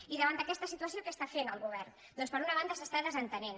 i davant d’aquesta situació què està fent el govern doncs per una banda se n’està desentenent